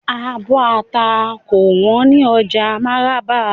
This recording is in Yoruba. Àbò atá kò wón ni oja Maraba.